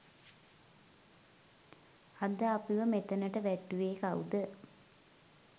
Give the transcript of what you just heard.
අද අපිව මෙතනට වැට්ටුවෙ කවුද?